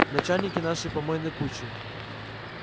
начальники нашей помойной кучи